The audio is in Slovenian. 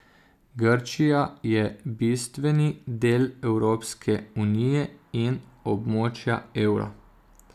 Grčija je bistveni del Evropske unije in območja evra.